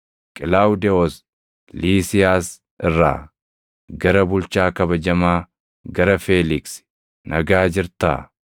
Qilaawudewoos Liisiiyaas irraa, Gara bulchaa kabajamaa, gara Feeliksi: Nagaa jirtaa.